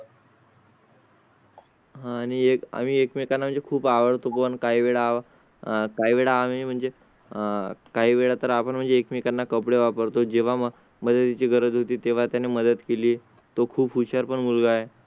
हां आणि एक आम्ही एकमेकांचे खूप आवडतो. पण काही वेळा काहीवेळा आम्ही म्हणजे आह काही वेळा तर आपण म्हणजे एकमेकांना कपडे वापरतो. जेव्हा मदती ची गरज होती तेव्हा त्याने मदत केली. तो खूप हुशार पण मुलगा आहे.